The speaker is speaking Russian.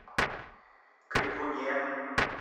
крикуне